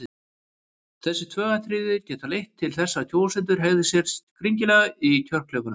Þessi tvö atriði geta leitt til þess að kjósendur hegði sér skringilega í kjörklefanum.